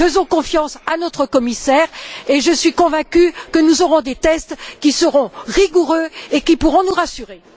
Faisons confiance à notre commissaire, et je suis convaincue que nous aurons des tests qui seront rigoureux et qui pourront nous rassurer.